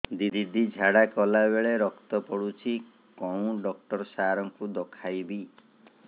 ଦିଦି ଝାଡ଼ା କଲା ବେଳେ ରକ୍ତ ପଡୁଛି କଉଁ ଡକ୍ଟର ସାର କୁ ଦଖାଇବି